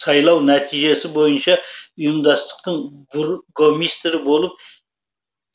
сайлау нәтижесі бойынша ұйымдастықтың бургомистрі болып